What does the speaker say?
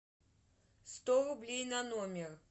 сто рублей на номер